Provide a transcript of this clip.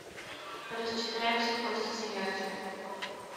рассчитаемся после смерти